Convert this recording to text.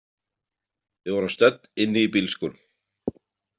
Við vorum stödd inni í bílskúr.